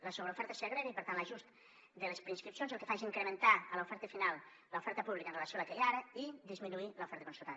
la sobreoferta es segrega i per tant l’ajust de les preinscripcions el que fa és incrementar a l’oferta final l’oferta pública amb relació a la que hi ha ara i disminuir l’oferta concertada